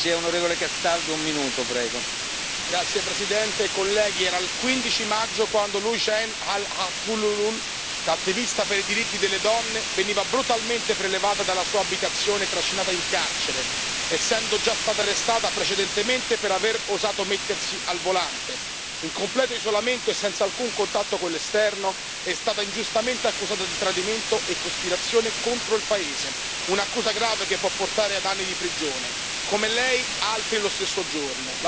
Signor Presidente, onorevoli colleghi, era il 15 maggio quando Loujain al Hathloul, attivista per i diritti delle donne, veniva brutalmente prelevata dalla sua abitazione e trascinata in carcere, essendo già stata arrestata precedentemente per aver osato mettersi al volante. In completo isolamento e senza alcun contatto con l'esterno è stata ingiustamente accusata di tradimento e cospirazione contro il paese un'accusa grave che può portare ad anni di prigione. Come lei, altre lo stesso giorno.